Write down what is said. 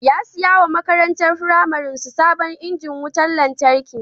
Ya saya wa makarantan firamare ɗin su sabon injin wutar lantarki.